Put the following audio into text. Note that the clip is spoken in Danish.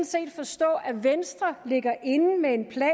set forstå at venstre ligger inde med en plan